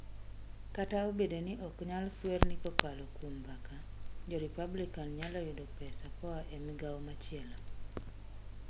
Kata obedo ni ok nyal kwer ni kokalo kuom mbaka, jo Republican nyalo yudo pesa koa e migawo machielo.